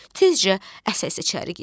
Tezcə əsə-əsə içəri girdi.